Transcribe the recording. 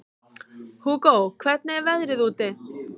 Hugó, hvernig er veðrið úti?